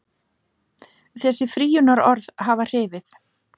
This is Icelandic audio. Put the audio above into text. Þessi frýjunarorð hafi hrifið.